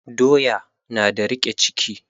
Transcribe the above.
Doya na da riƙe ciki